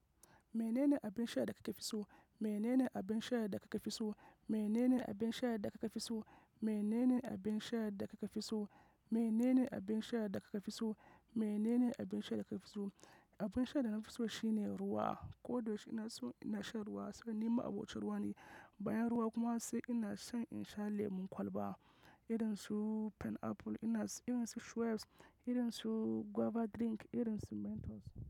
Menene abin sha da kake fisu? Menene abin sha da kake fisu? Menene abin sha da kake dafisu? Menene abin sha da kake dafisu? Menene abin sha da kake dafisu? Menene abin sha da kake dafisu? Abin sha da nafi so shi ne ruwa, kodayaushe ina so ina shan ruwa saboda ni ma'abocin ruwa ne. Bayan ruwa kuma sai ina shan in sha lemon kwalba, idan su pineapple ina, idan su Schweppes, idan su guava drink, idan su Mentos.